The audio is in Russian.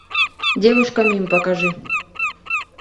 девушка мим покажи